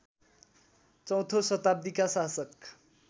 चौथो शताब्दीका शासक